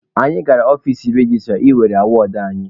Anyị gara ọfici registra ị welụ awọdụ anyị.